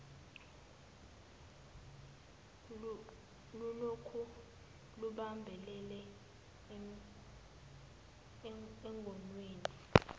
lulokhu lubambelele engonweni